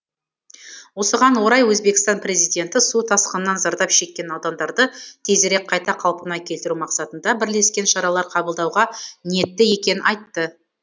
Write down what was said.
осыған орай өзбекстан президенті су тасқынынан зардап шеккен аудандарды тезірек қайта қалпына келтіру мақсатында бірлескен шаралар қабылдауға ниетті екенін айтты